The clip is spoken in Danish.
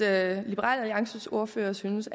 alliances ordfører synes